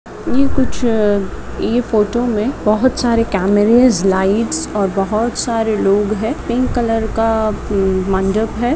यह कुछ यह फोटो में बहुत सारे कॅमेराज लाइट्स और बहुत सारे लोग है। पिंक कलर का मंडप है।